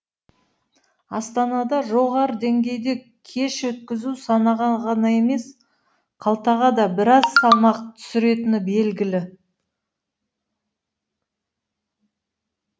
астанада жоғары деңгейде кеш өткізу санаға ғана емес қалтаға да біраз салмақ түсіретіні белгілі